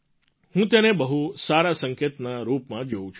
હું તેને બહુ સારા સંકેતના રૂપમાં જોઉં છું